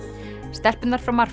stelpurnar frá